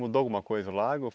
Mudou alguma coisa o lago?